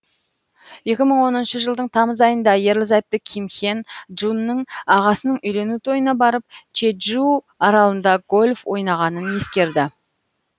екі мың он үшінші жылдың тамыз айында ерлі зайыпты ким хен джунның ағасының үйлену тойына барып чеджу аралында гольф ойнағанын ескерді